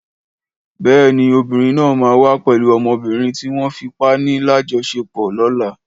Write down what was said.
Béèni obìrin náà ma wá pẹlú ọmọbìnrin tí wón fipá ni la jo sepo lọ̀la